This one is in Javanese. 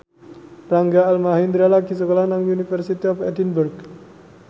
Rangga Almahendra lagi sekolah nang University of Edinburgh